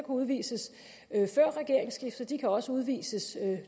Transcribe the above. udvises før regeringsskiftet kan også udvises